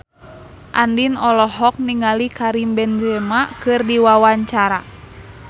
Andien olohok ningali Karim Benzema keur diwawancara